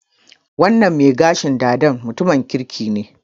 Wannan mai gashin dada mutumin kirki ne.